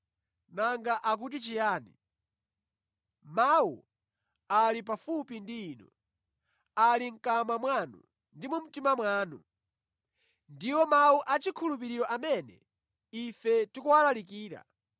Nanga akuti chiyani? “Mawu ali pafupi ndi inu. Ali mʼkamwa mwanu ndi mu mtima mwanu.” Ndiwo mawu achikhulupiriro amene ife tikuwalalikira,